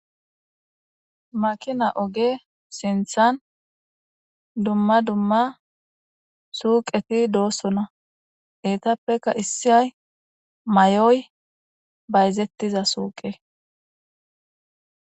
makina oge sinthan dumma dumma suuqeti doossona etappeka issiyay may7oy bayzettiza suuqe